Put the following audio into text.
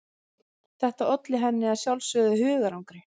Þetta olli henni að sjálfsögðu hugarangri.